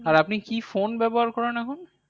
আর আপনি phone ব্যবহার করেন এখন?